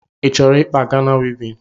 Ịchọrọ ịkpa Gana wivin?